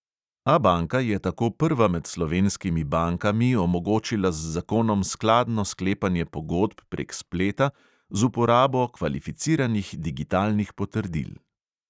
Abanka je tako prva med slovenskimi bankami omogočila z zakonom skladno sklepanje pogodb prek spleta z uporabo kvalificiranih digitalnih potrdil.